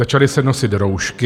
Začaly se nosit roušky.